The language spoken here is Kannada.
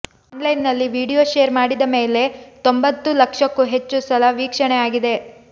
ಆನ್ ಲೈನ್ ನಲ್ಲಿ ವಿಡಿಯೋ ಷೇರ್ ಮಾಡಿದ ಮೇಲೆ ತೊಂಬತ್ತು ಲಕ್ಷಕ್ಕೂ ಹೆಚ್ಚು ಸಲ ವೀಕ್ಷಣೆ ಆಗಿದೆ